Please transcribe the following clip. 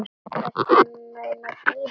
Ertu að meina Gínu?